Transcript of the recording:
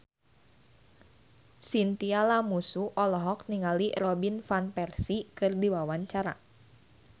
Chintya Lamusu olohok ningali Robin Van Persie keur diwawancara